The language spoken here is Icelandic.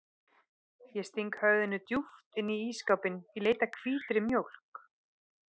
Ég sting höfðinu djúpt inn í ísskápinn í leit að hvítri mjólk.